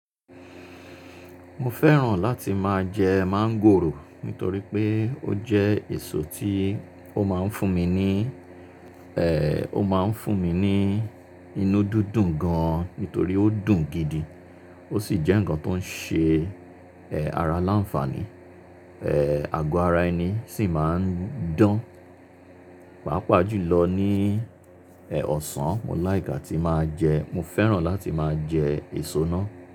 Mo fẹ́ràn láti máa jẹ máńgòrò nítorí pé ó jẹ́ èso tí ó máa ń fún mi ní, ẹ́, ó máa ń fún mi ní inú dídùn gan-an nítorí ó dùn gidi. Ó sì jẹ́ ǹkan tó ń ṣe, ẹ́, ara láǹfàní. Ẹ́, àgọ́ ara ẹni sì máa ń dán. Pàápàá jùlọ ní, ẹ́, ọ̀sán, mo like atí máa jẹ. Mo fẹ́ràn láti máa jẹ èso náà.